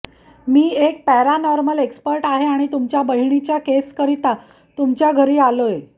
मी एक paranormal expert आहे आणि तुमच्या बहिणीच्या केस करीत तुमच्या घरी आलोय